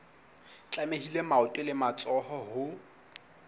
tlamehile maoto le matsoho ho